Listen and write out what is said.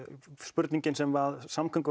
spurningin sem